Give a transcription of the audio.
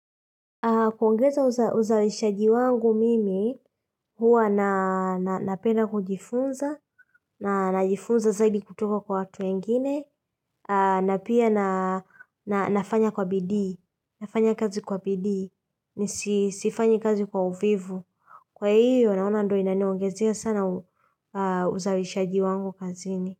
Kuongeza uzawishaji wangu mimi, huwa napenda kujifunza, na najifunza zaidi kutoka kwa watu wengine, na pia na nafanya kwa bidii, nafanya kazi kwa bidii, nisifanye kazi kwa uvivu. Kwa hiyo, naona ndo inaniongezea sana uzawishaji wangu kaziini.